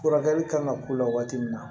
Furakɛli kan ka k'u la waati min na